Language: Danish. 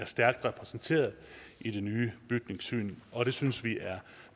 stærkt repræsenteret i det nye bygningssyn og det synes vi er